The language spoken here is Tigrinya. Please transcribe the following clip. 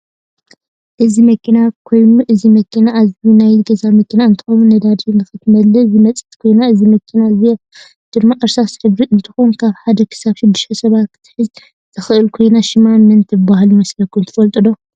እዚ መኪና ኮይኑ እዚ መኪና እዝኣ ናይ ገዛ መኪና እንትከው ነዳዲ ንክትመልእ ዝመፀት ኮይና እዚ መኪና እዝኣ ድማ እርሳስ ሕብሪ እንትትኮን ካብ ሓደ ክሳብ ሽድሽተ ሰባት ክትሕዝ ትክእል ኮይና ሽማ መን ትብሃል ይመስለኩም ትፍልጥዋዶ?